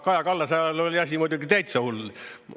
Kaja Kallase ajal oli asi muidugi täitsa hull.